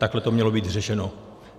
Takhle to mělo být řešeno.